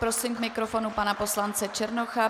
Prosím k mikrofonu pana poslance Černocha.